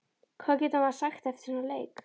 Hvað getur maður sagt eftir svona leik?